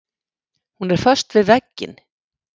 Hún er föst við vegginn.